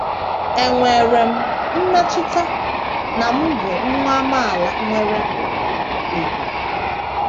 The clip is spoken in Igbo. Enwere m mmetụta na m bụ nwa amaala nwere ùgwù. ”